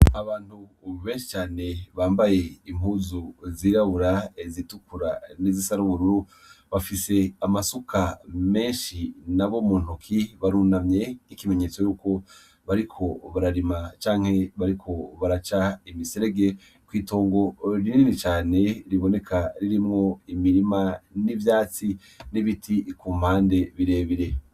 Abantu benshi cane bambaye impuzu zirabura zitukura n'izisa nubururu bafise amasuka menshi nabo mu ntoki barunamye n'ikimenyetso yuko bariko bararima canke bariko baraca imiserege kw'itongo rinini cane riboneka ririmwo imirima n'ivyatsi n'ibiti kumpande birebire.